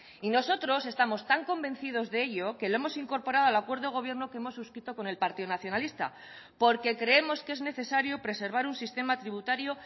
y nosotros estamos tan convencidos de ello que lo hemos incorporado al acuerdo de gobierno que hemos suscrito con el partido nacionalista porque creemos que es necesario preservar un sistema tributario